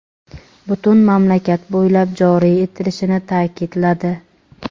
butun mamlakat bo‘ylab joriy etilishini ta’kidladi.